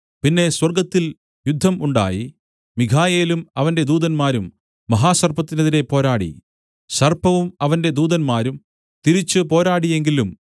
പിന്നെ സ്വർഗ്ഗത്തിൽ യുദ്ധം ഉണ്ടായി മീഖായേലും അവന്റെ ദൂതന്മാരും മഹാസർപ്പത്തിനെതിരെ പോരാടി സർപ്പവും അവന്റെ ദൂതന്മാരും തിരിച്ച് പോരാടിയെങ്കിലും